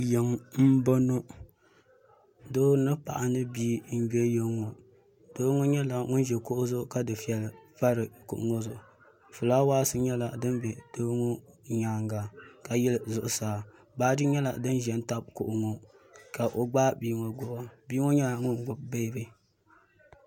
Yiŋa m-bɔŋɔ doo ni paɣa ni bia m-be yiŋa ŋɔ doo ŋɔ nyɛla ŋun ʒi kuɣu zuɣu ka dufɛli pa kuɣu ŋɔ zuɣu fulaawaasi nyɛla din be doo ŋɔ nyaaŋa ka yili zuɣusaa baaji nyɛla din ʒe n-tabi kuɣu ŋɔ ka o ɡbaai bia ŋɔ ɡbubi bia ŋɔ nyɛla ŋun ɡbubi beebi